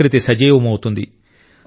ప్రకృతి సజీవమౌతుంది